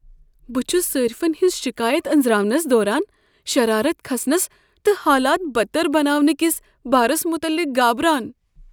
بہٕ چھس صارفن ہنٛز شکایت انزراونس دوران شرارت کھسنس تہٕ حالات بدتر بناونہٕ کس بارس متعلق گابران۔